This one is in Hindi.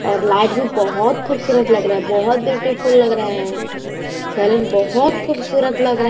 और लाइट भी बहोत खूबसूतर लग रहा है बहोत ब्यूटीफुल लग रहा है सैलून बहोत खूबसूरत लग रहा है।